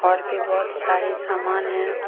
और भी बहुत सारे सामान है।